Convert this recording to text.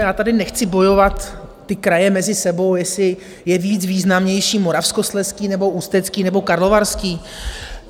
Já tady nechci bojovat - ty kraje mezi sebou, jestli je víc významnější Moravskoslezský, nebo Ústecký nebo Karlovarský.